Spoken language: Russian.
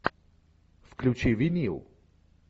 включи винил